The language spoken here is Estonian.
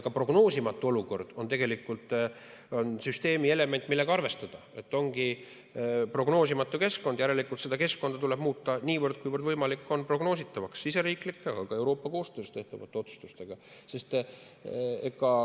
Ka prognoosimatu olukord on tegelikult süsteemi element, millega arvestada, et ongi prognoosimatu keskkond, järelikult seda keskkonda tuleb muuta, niivõrd kuivõrd see võimalik on, prognoositavaks siseriiklike, aga ka Euroopa koostöös tehtavate otsustustega.